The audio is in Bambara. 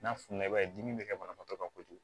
N'a fununa i b'a ye dimi bi kɛ banabagatɔ kan kojugu